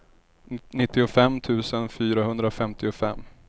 nittiofem tusen fyrahundrafemtiofem